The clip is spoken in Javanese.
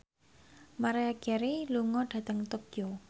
Maria Carey lunga dhateng Tokyo